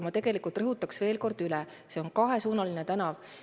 Ma rõhutan veel kord üle: see on kahesuunaline tänav.